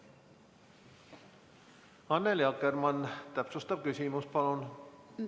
Annely Akkermann, täpsustav küsimus, palun!